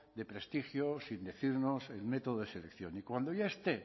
de prestigio sin decirnos el método de selección y cuando ya esté